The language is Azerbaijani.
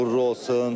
Uğurlu olsun.